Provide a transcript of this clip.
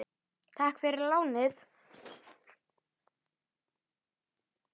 Takk fyrir lánið!